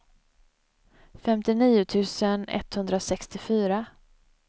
femtionio tusen etthundrasextiofyra